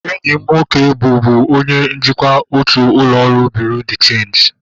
Enyi m nwoke bụbu onye njikwa otu ụlọ ọrụ bureau de cheenji